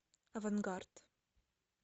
авангард